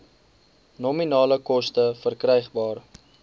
nominale koste verkrygbaar